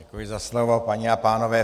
Děkuji za slovo, paní a pánové.